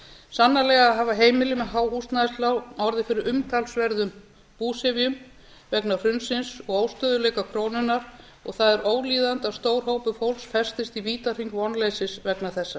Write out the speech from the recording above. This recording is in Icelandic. sannarlega hafa heimilin og há húsnæðislán orðið fyrir umtalsverðum búsifjum vegna hrunsins og óstöðugleika krónunnar og það er ólíðandi að stór hópur fólks festist í vítahring vonleysis vegna þessa